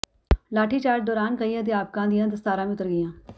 ਲਾਠੀਚਾਰਜ ਦੌਰਾਨ ਕਈ ਅਧਿਆਪਕਾਂ ਦੀਆਂ ਦਸਤਾਰਾਂ ਵੀ ਉਤਰ ਗਈਆਂ